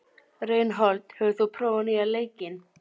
Reinhold, hefur þú prófað nýja leikinn?